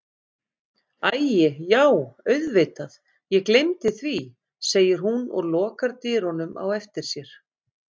Æi já auðvitað ég gleymdi því, segir hún og lokar dyrunum á eftir sér.